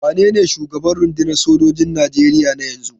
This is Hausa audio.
Wanene shugaban rundunar sojojin Nigeria na yanzu?